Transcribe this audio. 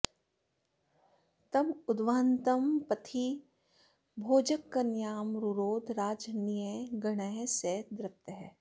तं उद्वहन्तं पथि भोजकन्यां रुरोध राजन्यगणः स दृप्तः